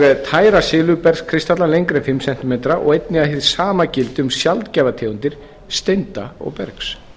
tæra silfurbergskristalla lengri en fimm cm og einnig að hið sama gildi um sjaldgæfar tegundir steinda og bergs